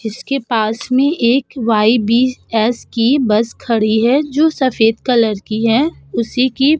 जिसके पास में एक वायबीएस की बस खड़ी है जो सफ़ेद कलर की है उसी की --